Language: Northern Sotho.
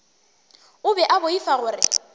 o be a boifa gore